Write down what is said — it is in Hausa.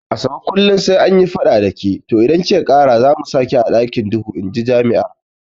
Asabe ke kullum sai anyi fada dake to idan kika kara zamu saki a ɗakin duhu inji jami'ar